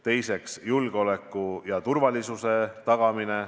Teiseks, julgeoleku ja turvalisuse tagamine.